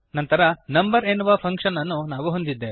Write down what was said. ನಂತರ ನಂಬರ್ ಎನ್ನುವ ಫಂಕ್ಶನ್ ಅನ್ನು ನಾವು ಹೊಂದಿದ್ದೇವೆ